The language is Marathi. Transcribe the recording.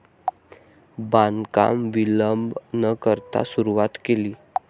बांधकाम विलंब न करता सुरुवात केली.